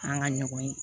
An ka ɲɔgɔn ye